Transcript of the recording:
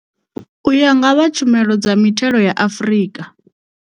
U ya nga vha Tshumelo dza Mithelo ya Afrika.